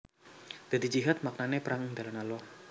Dadi jihad maknané perang ing dalan Allah